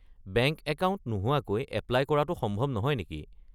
Bank account নোহোৱাকৈ apply কৰাটো সম্ভৱ নহয় নেকি?